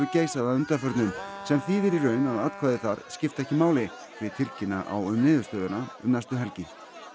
geisað að undanförnu sem þýðir í raun að atkvæði þar skipta ekki máli því tilkynna á um niðurstöðuna um næstu helgi